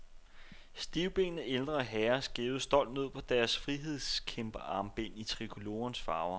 Stivbenede ældre herrer skævede stolt ned på deres frihedskæmperarmbind i trikolorens farver.